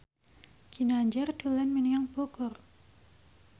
Ginanjar dolan menyang Bogor